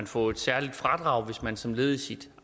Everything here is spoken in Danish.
få et særligt fradrag hvis man som led i sit